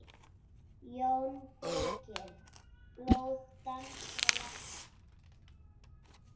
JÓN BEYKIR: Blóð danskra leppa!